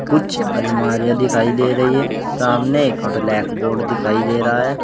कुछ अलमारियां दिखाई दे रही हैं सामने ब्लैक बोर्ड दिखाई दे रहा है।